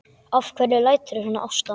Af hverju læturðu svona Ásta?